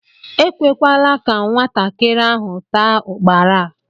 Ekwela ka nwatakịrị ahụ taa ukpara a!